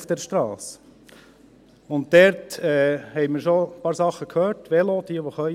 Und diesbezüglich haben wir schon ein paar Sachen gehört: Velo – jene, die können.